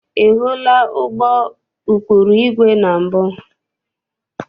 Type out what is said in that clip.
Ị hụla ụgbọ ụkpụrụ igwe na mbụ?